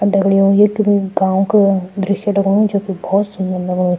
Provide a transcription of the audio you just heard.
अर दगड़ियों ये कुई गाँव को दृश्य लगणु जोकि भौत सुन्दर लगणु।